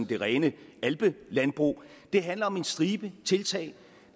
det rene alpelandbrug det handler om en stribe tiltag